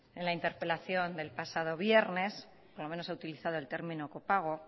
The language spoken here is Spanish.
en la interpelación del pasado viernes por lo menos ha utilizado el término copago